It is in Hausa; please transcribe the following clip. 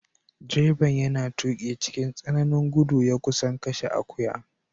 Direban yana tuki cikin tsananin gudu ya kusa kashe akuya.